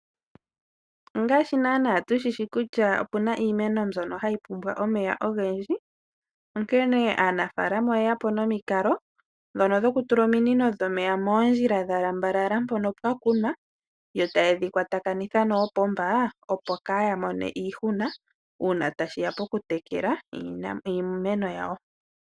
Ongaashi nana tushishi kutya opuna iimeno mbyono hayi pumbwa omeya ogendji onkene aanafalama oye yapo nomikalo ndhono dhoku tula ominino dhomeya moondjila dha lambalala mpono pwa kunwa yo tayedhi kwatakanitha noopomba opo kaya mone iihuna uuna tashiya poku tekela iimeno yawo.